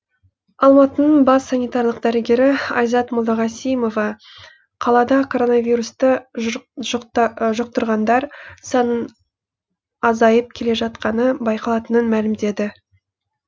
алматының бас санитарлық дәрігері айзат молдағасимова қалада коронавирусты жұқтырғандар санының азайып келе жатқаны байқалатынын мәлімдеді